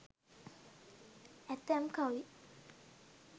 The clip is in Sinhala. ඇතැම් කවි